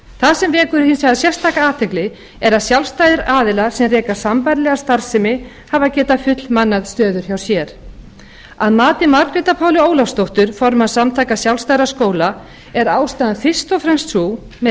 það sem vekur hins vegar sérstaka athygli er að sjálfstæðir aðilar sem reka sambærilega starfsemi hafa geta fullmannað stöður hjá sér að mati margrétar pálu ólafsdóttir formanns samtaka sjálfstæðra skóla er ástæðan fyrst og fremst sú með